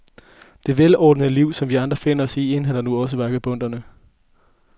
Det velordnede liv, som vi andre finder os i, indhenter nu også vagabonderne.